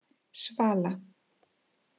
Svala